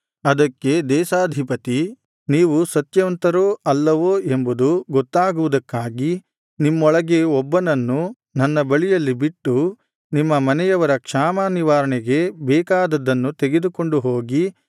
ಅದಕ್ಕೆ ದೇಶಾಧಿಪತಿ ನೀವು ಸತ್ಯವಂತರೋ ಅಲ್ಲವೋ ಎಂಬುದು ಗೊತ್ತಾಗುವುದಕ್ಕಾಗಿ ನಿಮ್ಮೊಳಗೆ ಒಬ್ಬನನ್ನು ನನ್ನ ಬಳಿಯಲ್ಲಿ ಬಿಟ್ಟು ನಿಮ್ಮ ಮನೆಯವರ ಕ್ಷಾಮ ನಿವಾರಣೆಗೆ ಬೇಕಾದದ್ದನ್ನು ತೆಗೆದುಕೊಂಡು ಹೋಗಿ